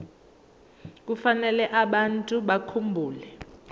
kufanele abantu bakhumbule